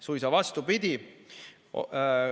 Suisa vastupidi.